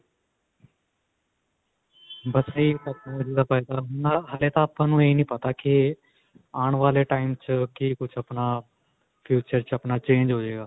ਹਜੇ ਤਾਂ ਆਪਾਂ ਨੂੰ ਇਹ ਨਹੀ ਪਤਾ ਕਿ ਆਉਣ ਵਾਲੇ time 'ਚ ਕੀ ਕੁੱਝ ਆਪਣਾ future 'ਚ ਆਪਣਾ change ਹੋਜੇਗਾ.